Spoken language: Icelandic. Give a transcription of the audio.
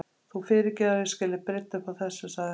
Þú fyrirgefur að ég skuli brydda upp á þessu- sagði hann.